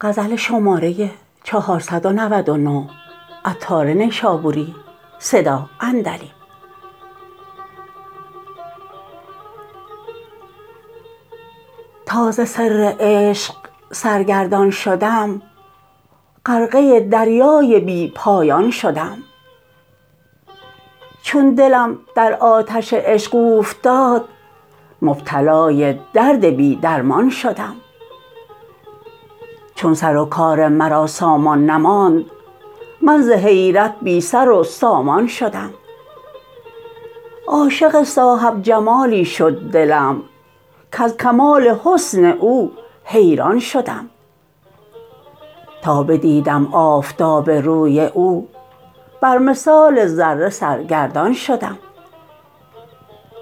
تا ز سر عشق سرگردان شدم غرقه دریای بی پایان شدم چون دلم در آتش عشق اوفتاد مبتلای درد بی درمان شدم چون سر و کار مرا سامان نماند من ز حیرت بی سر و سامان شدم عاشق صاحب جمالی شد دلم کز کمال حسن او حیران شدم تا بدیدم آفتاب روی او بر مثال ذره سرگردان شدم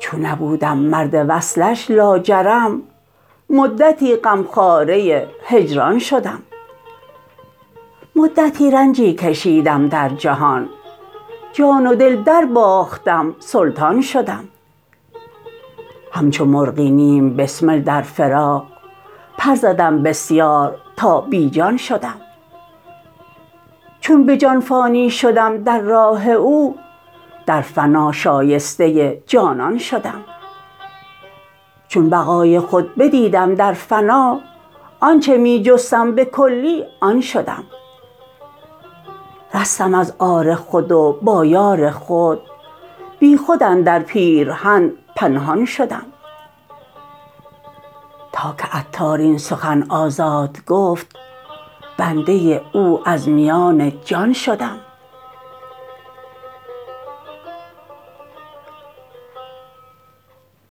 چون نبودم مرد وصلش لاجرم مدتی غمخواره هجران شدم مدتی رنجی کشیدم در جهان جان و دل درباختم سلطان شدم همچو مرغی نیم بسمل در فراق پر زدم بسیار تا بی جان شدم چون به جان فانی شدم در راه او در فتا شایسته جانان شدم چون بقای خود بدیدم در فنا آنچه می جستم به کلی آن شدم رستم از عار خود و با یار خود بی خود اندر پیرهن پنهان شدم تا که عطار این سخن آزاد گفت بنده او از میان جان شدم